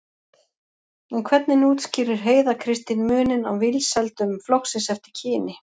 En hvernig útskýrir Heiða Kristín muninn á vinsældum flokksins eftir kyni?